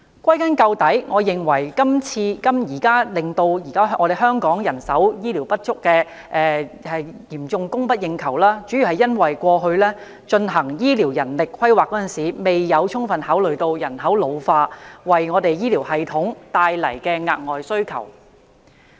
歸根究底，我認為造成今天香港醫護人手嚴重供不應求的主因，是政府過去進行醫療人力規劃時未有充分考慮人口老化為醫療系統帶來的額外需求。